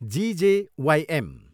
GJYM.